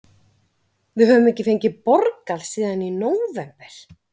Við höfum ekki fengið borgað síðan í nóvember.